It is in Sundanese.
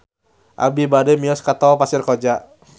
Abi bade mios ka Tol Pasir Koja